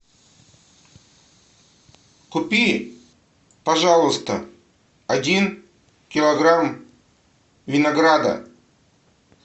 купи пожалуйста один килограмм винограда